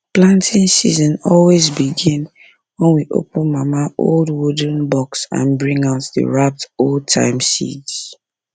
planting season always begin when we open mama old wooden box and bring out the wrapped oldtime seeds